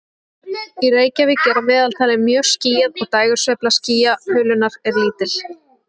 Í Reykjavík er að meðaltali mjög skýjað og dægursveifla skýjahulunnar er lítil.